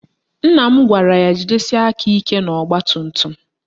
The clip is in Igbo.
Nna m gwara ya jidesie aka ike n'aka ọgbatumtum